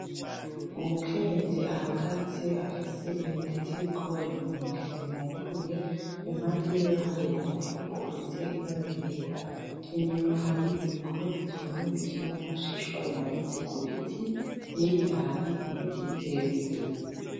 Umukenyezi ahagaze afise intete z'ibigori mu ntoki zihunguruye impande yiwe hari umufuko ufise ibara ryera inyuma hari ibigori vyumye bikiri mu mashishwa bimanitse ku biti hirya hari ibiti birebire.